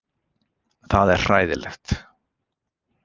Það er hræðilegt.